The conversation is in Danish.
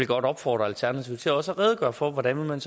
godt opfordre alternativet til også at redegøre for hvordan man